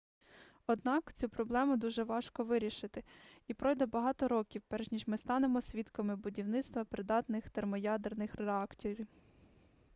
однак цю проблему дуже важко вирішити і пройде багато років перш ніж ми станемо свідками будівництва придатних термоядерних реакторів